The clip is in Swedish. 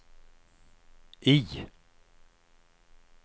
I